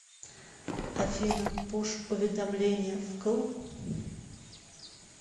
афина пуш уведомления вкл